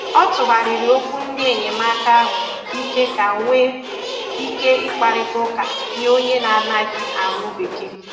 Ọ tụgharịrị okwu ndị enyemaka ahụ ike ka nwee ike ị kparịta ụka nye onye na - anaghị anụ bekee.